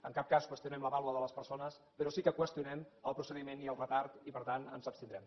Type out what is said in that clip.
en cap cas qüestionem la vàlua de les persones però sí que en qüestionem el procediment i el retard i per tant ens abstindrem